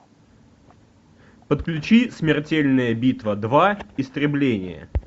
подключи смертельная битва два истребление